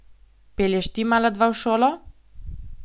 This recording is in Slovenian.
Pelješ ti mala dva v šolo?